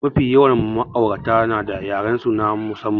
Mafi yawan ma'aurata nada yarensu na musamman.